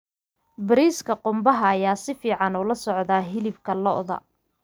Bariiska qumbaha ayaa si fiican ula socda hilibka lo'da.